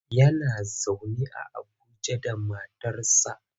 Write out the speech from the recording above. Yana zaune a Abuja da matarsa.